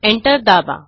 enter दाबा